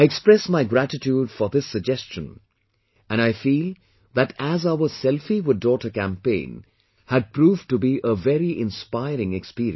I express my gratitude for this suggestion and I feel that as our 'Selfie with Daughter' campaign had proved to be a very inspiring experience